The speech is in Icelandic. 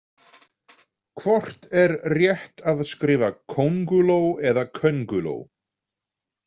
Hvort er rétt að skrifa kónguló eða könguló?